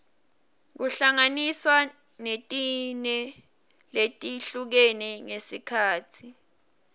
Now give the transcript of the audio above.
kuhlanganiswa netine letihlukene ngesikhatsi